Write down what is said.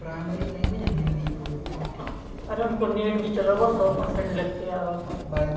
primary language हम हिंदी बोलते है ओह और हमको नेट भी चलाना सौ परसेंट लिक के आएगा तो